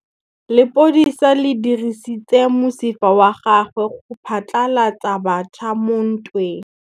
Lepodisa le dirisitse mosifa wa gagwe go phatlalatsa batšha mo ntweng.